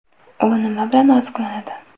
U nima bilan oziqlanadi?